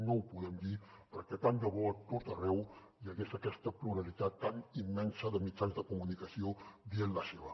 no ho podem dir perquè tant de bo a tot arreu hi hagués aquesta pluralitat tan immensa de mitjans de comunicació dient la seva